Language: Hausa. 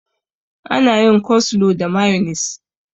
Ana yin coslo da mayonis.